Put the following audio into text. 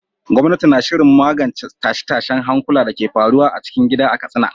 Gwamnati na shirin magance tashe-tashen hankula da ke faruwa a cikin gida a Katsina.